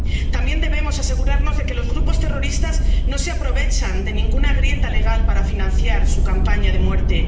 También debemos asegurarnos de que los grupos terroristas no se aprovechan de ninguna grieta legal para financiar su campaña de muerte.